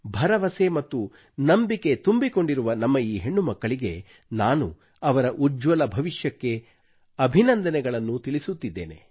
ಭರವಸೆ ಮತ್ತು ನಂಬಿಕೆ ತುಂಬಿಕೊಂಡಿರುವ ನಮ್ಮ ಈ ಹೆಣ್ಣುಮಕ್ಕಳಿಗೆ ನಾನು ಅವರ ಉಜ್ವಲ ಭವಿಷ್ಯಕ್ಕೆ ಅಭಿನಂದನೆಗಳನ್ನು ತಿಳಿಸುತ್ತಿದ್ದೇನೆ